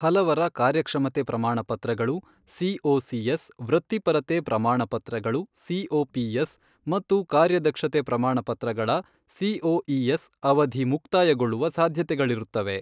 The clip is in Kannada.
ಹಲವರ ಕಾರ್ಯಕ್ಷಮತೆ ಪ್ರಮಾಣ ಪತ್ರಗಳು ಸಿಒಸಿಎಸ್, ವೃತ್ತಿಪರತೆ ಪ್ರಮಾಣ ಪತ್ರಗಳು ಸಿಒಪಿಎಸ್ ಮತ್ತು ಕಾರ್ಯದಕ್ಷತೆ ಪ್ರಮಾಣ ಪತ್ರಗಳ ಸಿಒಇಎಸ್ ಅವಧಿ ಮುಕ್ತಾಯಗೊಳ್ಳುವ ಸಾಧ್ಯತೆಗಳಿರುತ್ತವೆ.